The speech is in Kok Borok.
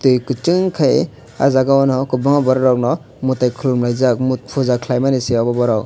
tui kuchung khei ah jaga o no kwbangma borok rokno mwtai khulumlaijak puja khlaimanise abo borok.